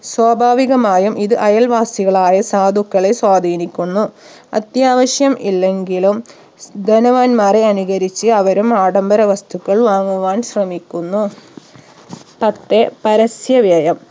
സ്വഭാവികമായും ഇത് അയൽവാസികളായ സാധുക്കളെ സ്വാധീനിക്കുന്നു അത്യാവശ്യം ഇല്ലെങ്കിലും ധനവാന്മാരെ അനുകരിച്ച് അവരും ആഡംബര വസ്തുക്കൾ വാങ്ങുവാൻ ശ്രമിക്കുന്നു പത്ത് പരസ്യവ്യയം